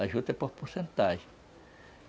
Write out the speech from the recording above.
A juta é por porcentagem.